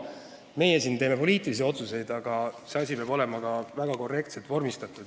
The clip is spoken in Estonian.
Meie siin teeme poliitilisi otsuseid, aga see asi peab olema ka väga korrektselt vormistatud.